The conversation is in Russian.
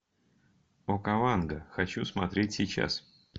окаванго хочу смотреть сейчас